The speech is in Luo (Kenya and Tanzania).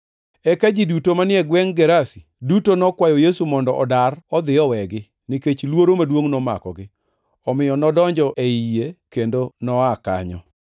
Eka ji duto manie gwengʼ Gerasi duto nokwayo Yesu mondo odar odhi owegi, nikech luoro maduongʼ nomakogi. Omiyo nodonjo ei yie kendo noa kanyo.